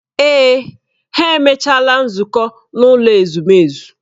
Èè, ha emechaala nzukọ n'ụlọ ezumezu.